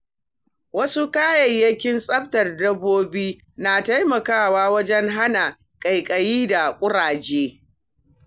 Wasu kayayyakin tsaftar dabbobi na taimakawa wajen hana ƙaiƙayi da ƙuraje.